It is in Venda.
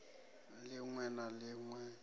lin we na lin we